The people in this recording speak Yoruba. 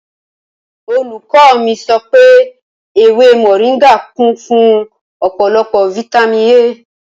Olùkò mi sọ̀pẹ èwé moringà kun fun ọ̀pọlòpọ fàtàmí A